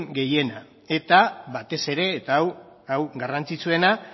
gehienak eta batez ere eta hau garrantzitsuena